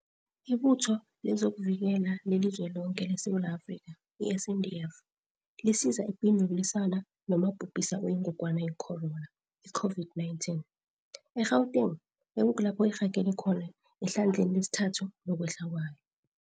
IButho lezokuVikela le liZweloke leSewula Afrika, i-SANDF, lisiza epini yokulwisana nomabhubhisa oyiNgogwana ye-corona, i-COVID-19, e-Gauteng, ekukulapho irhagele khona ehlandleni lesithathu lokwehla kwayo.